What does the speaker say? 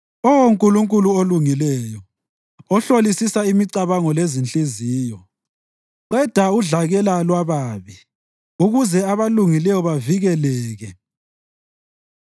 Oh Nkulunkulu olungileyo, ohlolisisa imicabango lezinhliziyo, qeda udlakela lwababi ukuze abalungileyo bavikeleke.